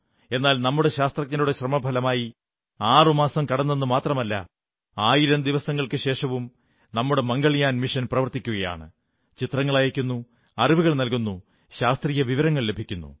എന്നാൽ നമ്മുടെ ശാസ്ത്രജ്ഞരുടെ ശ്രമഫലമായി ആറുമാസം കടന്നെന്നു മാത്രമല്ല ആയിരം ദിവസങ്ങൾക്കുശേഷവും നമ്മുടെ മംഗൾയാൻ മിഷൻ പ്രവർത്തിക്കയാണ് ചിത്രങ്ങൾ അയയ്ക്കുന്നു അറിവുകൾ നല്കുന്നു ശാസ്ത്രീയവിവരങ്ങൾ ലഭിക്കുന്നു